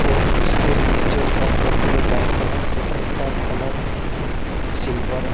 और उसके नीचे का शटर डाउन है शटर का कलर सिल्वर है।